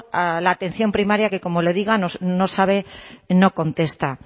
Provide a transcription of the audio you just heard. a la atención primaria que como le digo no sabe no contesta